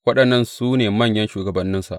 Waɗannan su ne manyan shugabanninsa.